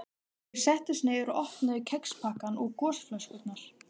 Undrandi horfði hún á hann eins og úr fjarska.